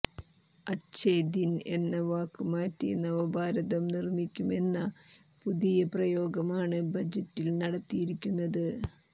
അഛേ ദിൻ എന്ന വാക്ക് മാറ്റി നവഭാരതം നിർമ്മിക്കുമെന്ന പുതിയ പ്രയോഗമാണ് ബജറ്റിൽ നടത്തിയിരിക്കുന്നത്